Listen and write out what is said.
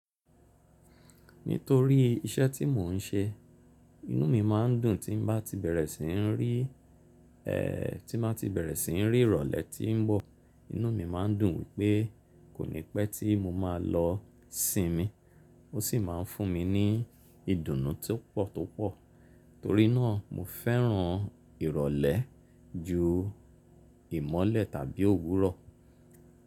Nítorí iṣẹ́ tí mò ń ṣe, inú mi máa ń dùn tí n bá ti bẹ̀rẹ̀ sí n rí, ẹ, tí n bá ti bẹ̀rẹ̀ sí n rí ìrọ̀lẹ́ tí ń bọ̀. Inú mi máa ń dùn wípé kònípẹ́ tí mo máa lọ sinmi. Ó sì máa ń fún mi ní ìdùnnú tó pọ̀ tó pọ̀. Torí náà, mo fẹ́ràn ìrọ̀lẹ́ ju ìmọ́lẹ̀ tàbí òwúrọ̀.